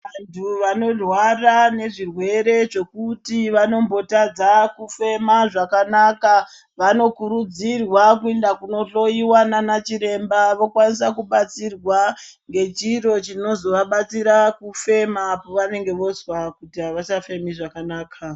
Vantu vanorwara nezvirwere zvekuti vanombotadza kufema zvakanaka vanokurudzirwa kuenda kundohloyiwa nanachiremba vokwanisa kubatsirwa ngechiro chinozovabatsira kufema povanonga vozwakuti havachafemi zvakanaka.